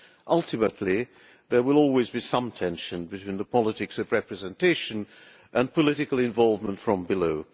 Ultimately there will always be some tension between the politics of representation and political involvement from below.